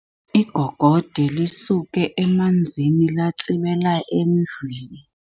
Igogode lisuke emanzini latsibela endlwini.